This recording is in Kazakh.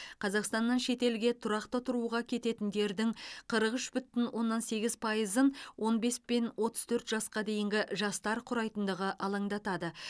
қазақстаннан шетелге тұрақты тұруға кететіндердің қырық үш бүтін оннан сегіз пайызын он бес пен отыз төрт жасқа дейінгі жастар құрайтындығы алаңдатады